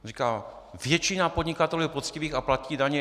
Říkal: Většina podnikatelů je poctivých a platí daně.